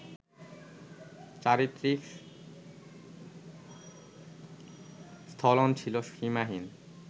চারিত্রিক স্খলন ছিল সীমাহীন